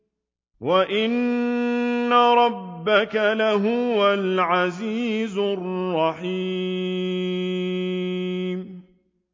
وَإِنَّ رَبَّكَ لَهُوَ الْعَزِيزُ الرَّحِيمُ